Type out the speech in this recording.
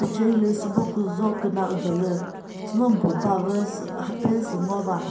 ture hilü sübo küna udolü thünomi püh bavü mhapezü sü ngova.